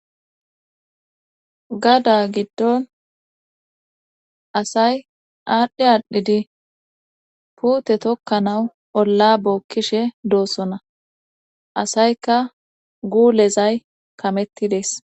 Gada giddon asay aadhdhi aadhidi puute tokkanawu olla bookkishe doossona asayka guulezay kamettidees